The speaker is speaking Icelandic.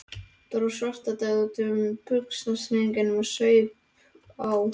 Dró Svartadauða upp úr buxnastrengnum og saup á.